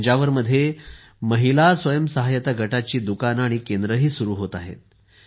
तंजावरमध्ये महिला स्वयंसहायता गटांची दुकाने आणि केंद्रेही सुरू होत आहेत